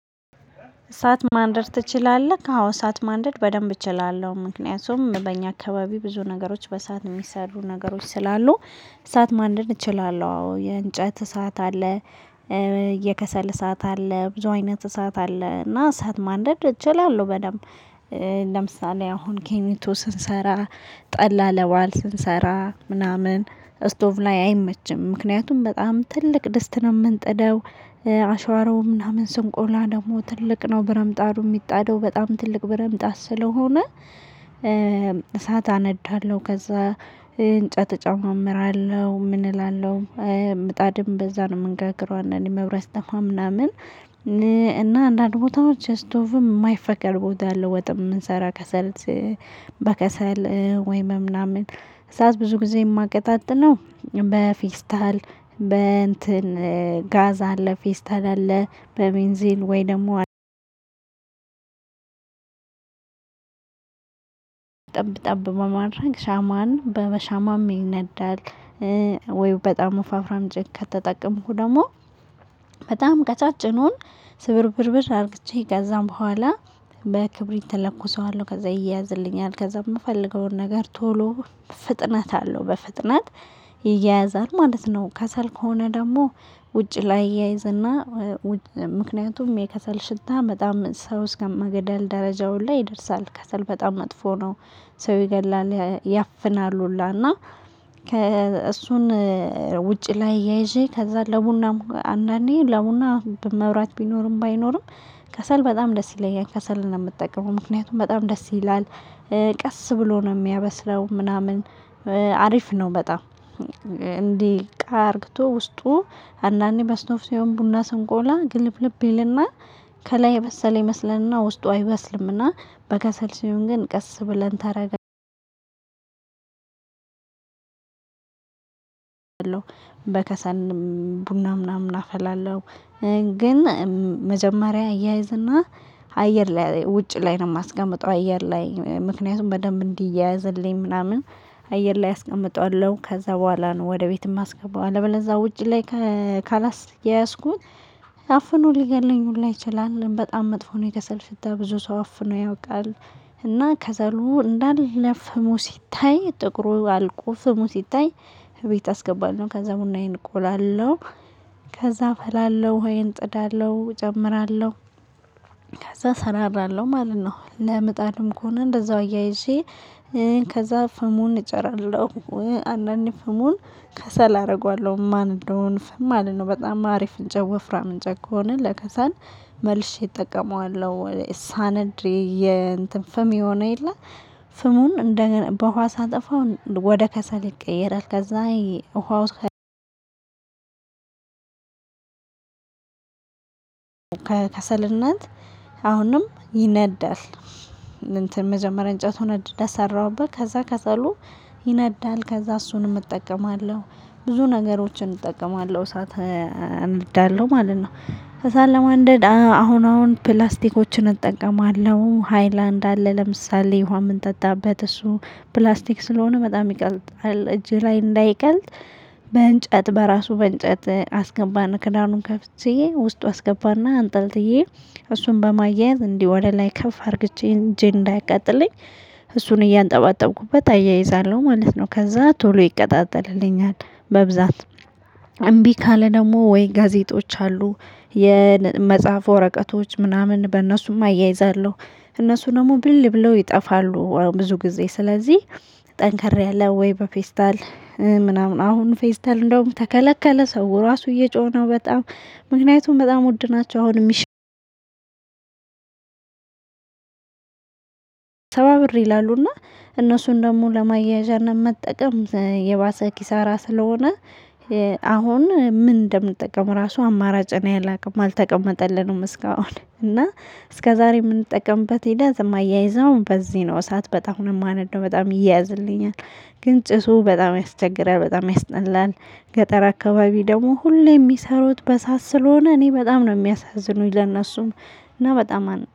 እሳት ማንደድ ትችላለህ? አዎ እሳት ማንደድ በደንብ እችላለሁ ምክንያቱም በእኛ አካባቢ ብዙ ነገሮች በእሳት የሚሰሩ ነገሮች ስላሉ። እሳት ማንደድ እችላለሁ። አዎ የእንጨት እሳት አለ። የከሰል እሳት አለ ብዙ አይነት እሳት አለ። እና እሳት ማንደድ እችላለሁ። በደንብ ለምሳሌ አሁን ኬኒቶ ስንሰራ። ጠላ ለበአል ስንሰራ ምናምን ስቶቭ ላይ አይመችም ምክንያቱም በጣም ትልቅ ደስተን የምንጠደው። አሽሮው ምናምን ስንቆላ ደግሞ ትልቅ ነው ብረምጣዱ የሚጣደው በጣም ትልቅ ብረምጣድ ስለሆነ። እሳት አነዳለሁ ከዛ እንጨት እጨማምራለሁ ምን እላለሁ። ምጣድም በዛ ነው መንጋግረው እንዳንዴ ምናምን መብራት ሲጠፋ ምናምን። እና አንዳንድ ቦታዎች ስቶቭም የማይፈቀድ ቦታ አለ። ወጥም የምንሰራ ከሰል። በከሰል ወይም በምናምን እሳት ብዙ ጊዜ የማቀጣጥለው በፌስታል በእንትን ጋዝ አለ። ፌስታል አለ በቤንዚል ወይ ደግሞ ጠብ ጠብ በማድረግ ሻማን በሻማም ይነዳል። ወይ በጣም ዘፋ ፍራም እንጨት ከተጠቀምኩ ደግሞ። በጣም ቀጫጭኑን ስብርብርብር አድርጌ ጋዛም በኋላ በክብር ተለኮሰዋለሁ ከዛ ይያዝልኛል። ከዛ የምፈልገውን ነገር ቶሎ ፍጥነት አለው በፍጥነት ይያያዛል ማለት ነው። ከሰል ከሆነ ደግሞ ውጪ ላይ አያይዝ እና ምክንያቱም የከሰል ሽታ በጣም ሰው እስከ መገደል ደረጃ ሁላ ይደርሳል። ከሰል በጣም መጥፎ ነው። ሰው ይገላል ያፍናል ሁላ። እና ከእሱን ውጪ ላይ እያይዤ ከዛ ለቡናም አንዳንዴ ለቡና በመብራት ቢኖርም ባይኖርም። ከሰል በጣም ደስ ይለኛል ከሰል ነው የምጠቀመው ምክንያቱም በጣም ደስ ይላል። ቀስ ብሎ ነው የሚያበስለው ምናምን አሪፍ ነው። በጣም እንዲህ ቃ አርግቶ ውስጡ አንዳንዴ በስቶፍ ሲሆን ቡና ስንቆላ ግልብልብ ይልና ከላይ የበሰለ ይመስለናልና ውስጡ አይበስልም። እና በከሰል ሲሆን ግን ቀስ ብለን ተረጋግተን በከሰል ቡና ምናምን አፈላለሁ። ግን መጀመሪያ አያይዝ እና አየር ላይ ውጭ ላይ ነው። የማስቀምጠው አየር ላይ ምክንያቱም በደንብ እንዲያያዝልኝ ምናምን አየር ላይ አስቀምጠዋለሁ ከዛ በኋላ ነው ወደ ቤትም የማስገባው። አለበለዛ ውጭ ላይ ካላያያዝኩት አፍኖ ሊገድለኝ ሁላ ይችላል በጣም መጥፎ ነው። የከሰል ሽታ ብዙ ሰው አፍኖ ያውቃል። እና ከሰሉ እንዳለ ፍሙ ሲታይ ጥቁሩ አልቆ ፍሙ ሲታይ። እቤት አስገባለሁ ከዛ ቡናዬን እቆላለሁ። ከዛ እፈላለሁ እኋዬን እጥዳለሁ እጨምራለሁ ከዛ እሰራራለሁ ማለት ነው። ለምጣድም ከሆነ እንደዛው እያየይዤ ከዛ ፍሙን እጨራለሁ። አንዳንዴ ፍሙን ከሰል አደርገዋለሁ እነማነደውን እፍም ማለት ነው። በጣም አሪፍ እንጨት ወፍራም እንጨት ከሆነ ለከሰል መልሼ እጠቀመዋለሁ። ሳነድ የእንትን ፍም የሆነ የለ ፍሙን እንደገና በውሃ ሳጠፋው ወደ ከሰል ይቀየራል። ከዛ ውሃው ከከሰልነት አሁንም ይነዳል። እንትን መጀመሪያ እንጨቱን እንደሰራሁበት ከዛ ከሰሉ ይነዳል ከዛ እሱንም እጠቀማለሁ። ብዙ ነገሮችን እጠቀማለሁ እሳት አነዳለሁ ማለት ነው። እሳት ለማንደድ አሁን አሁን ፕላስቲኮችን እጠቀማለሁ ሃይላንድ አለ ለምሳሌ ውሃ የምንጠጣበት እሱ ፕላስቲክ ስለሆነ በጣም ይቀልጣል እጄ ላይ እንዳይቀልጥ። በእንጨት በራሱ በእንጨት አስገባና ከዳኑን ከፍቼ ውስጡ አስገባና አንጠልጥዬ እሱን በማያያዝ እንዲህ ወደ ላይ ከፍ አድርጌ እጄን እንዳያቃጥለኝ እሱን እያንጠባጠብኩበት አያይዛለሁ ማለት ነው። ከዛ ቶሎ ይቀጣጠልልኛል። በብዛት እምቢ ካለ ደግሞ ወይ ጋዜጦች አሉ። የመጽሐፍ ወረቀቶች ምናምን በእነሱም አያይዛለሁ እነሱ ደግሞ ብን ብለው ይጠፋሉ። ብዙ ጊዜ ስለዚህ። ጠንከር ያለ ወይም በፌስታል ምናምን አሁን ፌስታል እንደውም ተከለከለ። ሰው ራሱ እየጮኸ ነው በጣም ምክንያቱም በጣም ወድናቸው አሁን የሚሸጡት። ሰባ ብር ይላሉና እነሱን ደግሞ ለማያያዣነት መጠቀም የባሰ ኪሳራ ስለሆነ። አሁን ምን እንደምንጠቀም ራሱ አማራጭ እኔ አላውቅም አልተቀመጠልንም እስካሁን እና። እስከዛሬ የምንጠቀምበት ሂደት የማያይዘውም በዚህ ነው። እሳት በጣም ነው የማነደው በጣም ይያያዝልኛል። ግን ጭሱ በጣም ያስቸግራል በጣም ያስጠላል። ገጠር አካባቢ ደግሞ ሁሌ የሚሰሩት በእሳት ስለሆነ እኔ በጣም ነው የሚያሳዝኑኝ ለእነሱም። እና በጣም አን